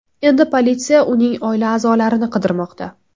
Endi politsiya uning oila a’zolarini qidirmoqda.